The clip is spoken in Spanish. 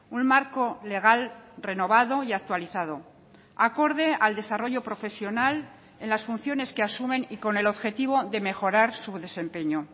un marco legal renovado y actualizado acorde al desarrollo profesional en las funciones que asumen y con el objetivo de mejorar su desempeño